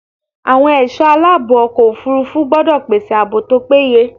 Àwọn ẹ̀sọ́ aláàbò ọkọ̀ òfúrúfú gbọ́dọ̀ pèsè ààbò tó péye.